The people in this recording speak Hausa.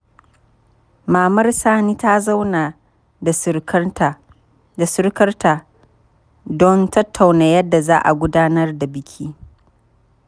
Mamar Sani ta zauna da surukarta don tattauna yadda za a gudanar da biki.